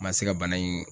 N ma se ka bana in